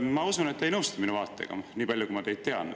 Ma usun, et te ei nõustu selle vaatega, nii palju kui ma teid tean.